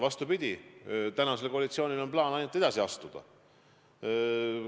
Vastupidi, praegusel koalitsioonil on plaan ainult edasi astuda.